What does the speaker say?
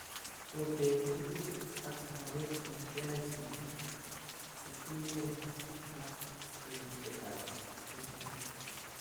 Ikotee tebutik ak maget eng KICD kotingee ak tebutikab KEC